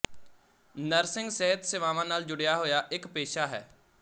nursing ਸਿਹਤ ਸੇਵਾਵਾਂ ਨਾਲ ਜੁੜਿਆ ਹੋਇਆ ਇੱਕ ਪੇਸ਼ਾ ਹੈ